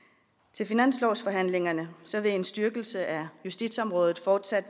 til finanslovsforhandlingerne vil en styrkelse af justitsområdet fortsat